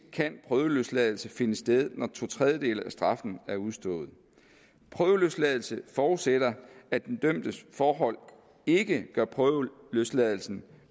kan prøveløsladelse finde sted når to tredjedele af straffen er udstået prøveløsladelse forudsætter at den dømtes forhold ikke gør prøveløsladelsen